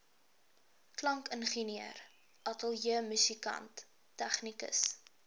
klankingenieur ateljeemusikant tegnikus